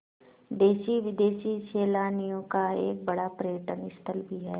देशी विदेशी सैलानियों का एक बड़ा पर्यटन स्थल भी है